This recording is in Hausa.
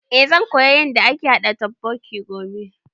Eh zan koya yanda ake haɗa totbokki gobe